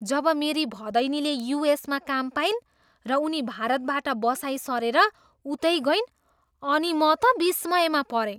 जब मेरी भदैनीले युएसमा काम पाइन् र उनी भारतबाट बसाइँ सरेर उतै गइन् अनि म त विस्मयमा परेँ।